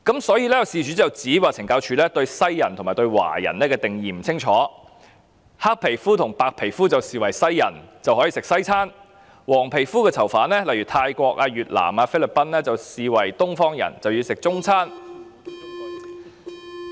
所以，事主便指懲教署對西人和華人的定義不清晰，黑皮膚和白皮膚的便視為西人，可以吃西餐，黃皮膚的囚犯，例如泰國人、越南人和菲律賓人，則被視為東方人，因而要吃中餐。